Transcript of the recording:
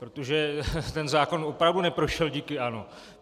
Protože ten zákon opravdu neprošel díky ANO.